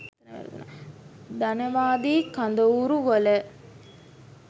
ධනවාදී කඳවුරු වල